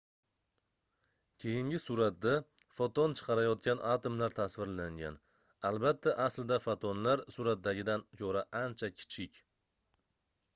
keyingi suratda foton chiqarayotgan atomlar tasvirlangan albatta aslida fotonlar suratdagidan koʻra ancha kichik